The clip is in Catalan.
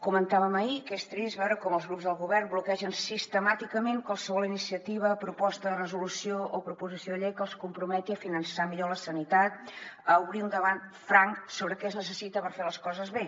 comentàvem ahir que és trist veure com els grups del govern bloquegen sistemàticament qualsevol iniciativa proposta de resolució o proposició de llei que els comprometi a finançar millor la sanitat a obrir un debat franc sobre què es necessita per fer les coses bé